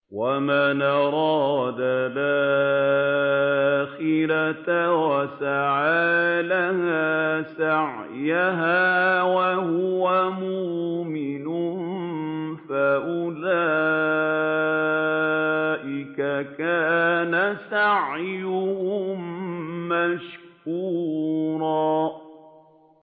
وَمَنْ أَرَادَ الْآخِرَةَ وَسَعَىٰ لَهَا سَعْيَهَا وَهُوَ مُؤْمِنٌ فَأُولَٰئِكَ كَانَ سَعْيُهُم مَّشْكُورًا